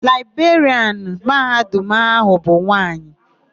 Laịberịanụ Mahadum áhụ̀ bụ nwaanyị.